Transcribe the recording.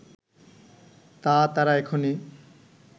তা তারা এখনি